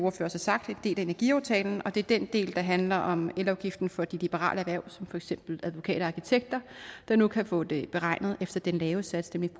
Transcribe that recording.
også har sagt en del af energiaftalen og det er den del der handler om elafgiften for de liberale erhverv som for eksempel advokater og arkitekter der nu kan få det beregnet efter den lave sats nemlig